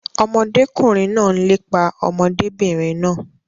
Ọmọdékùnrin náà n lépa ọmọdébìnrin náà.